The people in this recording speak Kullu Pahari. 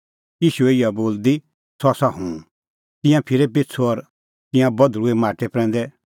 ईशूए इहअ बोलदी सह आसा हुंह तिंयां फिरै पिछ़ू और तिंयां बधल़ुऐ माटै प्रैंदै